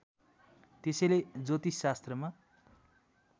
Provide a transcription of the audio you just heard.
त्यसैले ज्योतिषशास्त्रमा